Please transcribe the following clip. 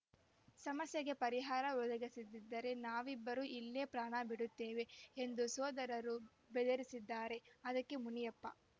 ಸಮಸ್ಯೆಗೆ ಪರಿಹಾರ ಒದಗಿಸದಿದ್ದರೆ ನಾವಿಬ್ಬರೂ ಇಲ್ಲೇ ಪ್ರಾಣ ಬಿಡುತ್ತೇವೆ ಎಂದು ಸೋದರರು ಬೆದರಿಸಿದ್ದಾರೆ ಅದಕ್ಕೆ ಮುನಿಯಪ್ಪ